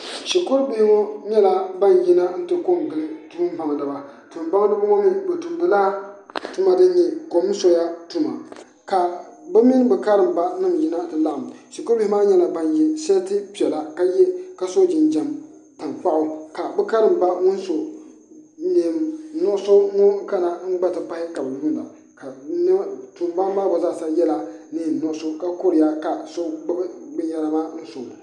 Dɔba la a tona toma, kyɛ a zie maaŋ aŋa saa naŋ wa, ba laŋ yɛ taa noba banaare, a ti boŋ kaŋa awoŋ boɔra a gara kyɛ ka lɔɛ meŋ 'pack', ka noba be a lɔɔre poɔŋ, ka dɔba meŋ are a sori, lɔɛ ata meŋ be a puoriŋ aŋa polisiri lɔɛ.